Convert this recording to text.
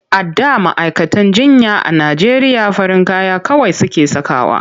A da ma'aikatan jinya a Najeriya farin kaya kawai suke sakawa.